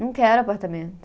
Não quero apartamento.